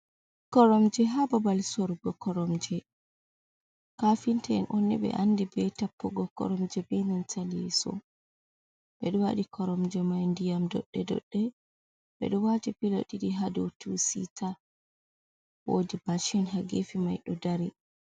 Koromje ha babal sorugo koromje. Kafinta’en on ɓe andi be tappugo koromje benan ta leso. Ɓeɗo waɗi koromje mai ndiyam doɗɗe doɗɗe. Ɓe ɗo waɗi pilo ɗiɗi hadau tu sita. Wodi mashin ha gefe mai ɗo dari.